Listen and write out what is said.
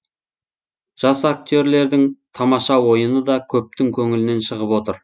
жас актерлердің тамаша ойыны да көптің көңілінен шығып отыр